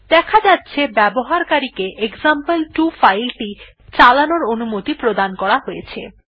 দেখা যাচ্ছে ব্যবহারকারী কে এক্সাম্পল2 ফাইল টি চালানোর অনুমতি প্রদান করা হয়েছে